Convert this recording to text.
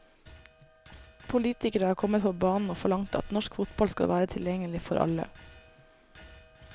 Politikere har kommet på banen og forlangt at norsk fotball skal være tilgjengelig for alle.